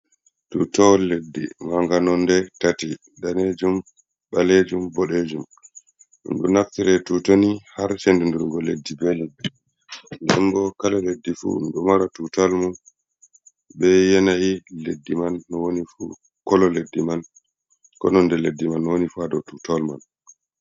Tuutawal leddi marngal nonɗe tati: daneejum ɓaleejum boɗeejum. Ɗum ɗo naftira tuutawal ni har senndindirgo leddi man. Nden bo kala leddi fuu ɗo mara tuutawal mum bee yenayi leddi man no woni fuu. ''Colour'' leddi man, koo nonnde leddi man no woni fuu haa dow tuutawal man.